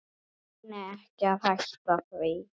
Reyni ekki að hætta því.